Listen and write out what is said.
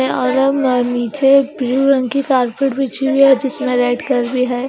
नीचे ब्लू रंग की कारपेट बिछी हुई है जिसमें रेड कलर भी है।